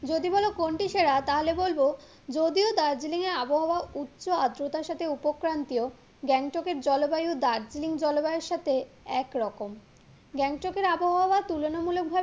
যদি বলো কোনটি সেরা তাহলে বলবো, যদিও দার্জলিংয়ের আবহাওয়া উচ্চ আদ্রতার সাথে উপক্রান্তীও গ্যাংটককে জলবায়ু দার্জিলিং জলবায়ুর সাথে একরকম গ্যাংটককে আবহাওয়া তুলনা মূলক ভাবে